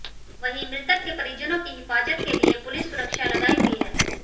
वहीं मृतक के परिजनों की हिफाजत के लिए पुलिस सुरक्षा लगाई हुई है